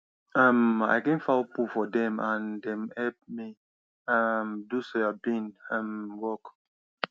um i clean fowl poo for dem and dem help me um do soybean um work